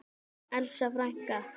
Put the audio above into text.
Elsa frænka.